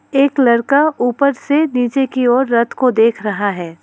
एक लड़का ऊपर से नीचे की ओर रथ को देख रहा है।